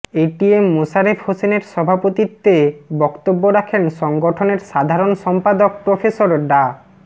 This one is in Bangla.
এটিএম মোশারেফ হোসেনের সভাপতিত্বে বক্তব্য রাখেন সংগঠনের সাধারণ সম্পাদক প্রফেসর ডা